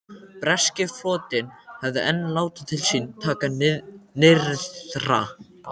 Breski flotinn hafði enn látið til sín taka nyrðra.